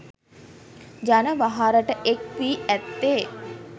ජන වහරට එක් වී ඇත්තේ.